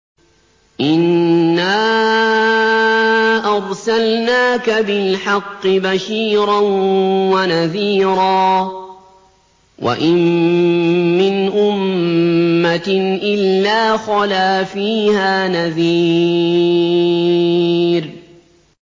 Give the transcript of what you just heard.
إِنَّا أَرْسَلْنَاكَ بِالْحَقِّ بَشِيرًا وَنَذِيرًا ۚ وَإِن مِّنْ أُمَّةٍ إِلَّا خَلَا فِيهَا نَذِيرٌ